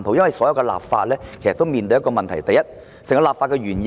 我們立法時要面對一個問題，便是立法原意是甚麼？